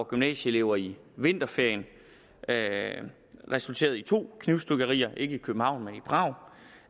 gymnasieelever i vinterferien resulterede i to knivstikkerier ikke i københavn men i prag